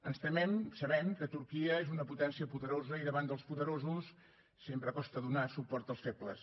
ens temem sabem que turquia és una potència poderosa i davant dels poderosos sempre costa donar suport als febles